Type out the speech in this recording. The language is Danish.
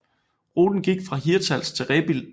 Ruten gik fra Hirtshals til Rebild